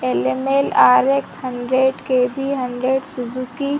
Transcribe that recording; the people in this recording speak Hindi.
LML R X hundred K B hundred Suzuki --